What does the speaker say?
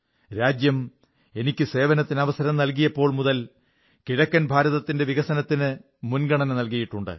രാജ്യം എനിക്ക് സേവനത്തിന് അവസരം നല്കിയപ്പോൾമുതൽ കിഴക്കൻ ഭാരതത്തിന്റെ വികസനത്തിന് മുൻഗണന നല്കിയിട്ടുണ്ട്